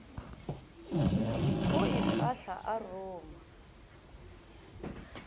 go e fohla a ruma